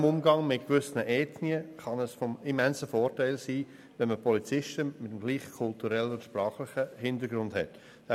Im Umgang mit gewissen Ethnien kann es von immensem Vorteil sein, Polizisten mit denselben kulturellen und sprachlichen Hintergründen einzustellen.